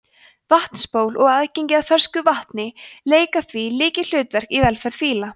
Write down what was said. vatnsból og aðgengi að fersku vatni leika því lykilhlutverk í velferð fíla